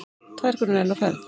Tvær konur enn á ferð.